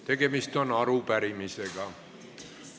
Tegemist on arupärimisega.